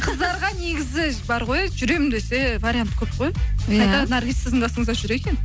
қыздарға негізі бар ғой жүремін десе вариант көп қой наргиз сіздің қасыңызда жүр екен